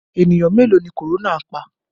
Ènìyàn mélòó ni korona pa?